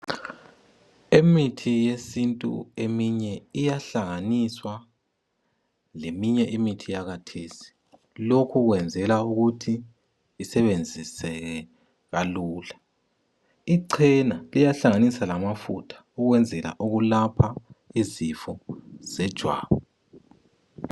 Imithi yesintu eminye iyahlanganiswa leminye imithi yakathesi ,Lokhu kwenzela ukuthi isebenziseke kalula. Icena liyahlanganiswa lamafutha ukwenzela ukulapha izifo zejwabu.